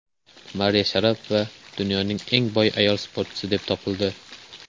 Mariya Sharapova dunyoning eng boy ayol sportchisi deb topildi.